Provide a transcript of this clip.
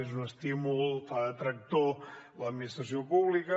és un estímul fa de tractor l’administració pública